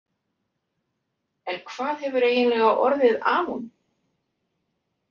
En hvað hefur eiginlega orðið af honum?